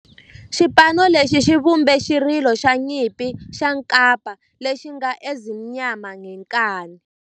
Xipano lexi xi vumbe xirilo xa nyimpi xa kampa lexi nge 'Ezimnyama Ngenkani'.